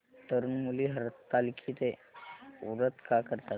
तरुण मुली हरतालिकेचं व्रत का करतात